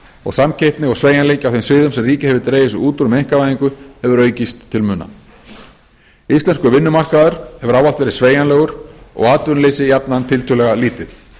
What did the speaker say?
og samkeppni og sveigjanleiki á þeim sviðum sem ríkið hefur dregið sig út úr með einkavæðingu hefur aukist til muna íslenskur vinnumarkaður hefur ávallt verið sveigjanlegur og atvinnuleysi jafnan tiltölulega lítið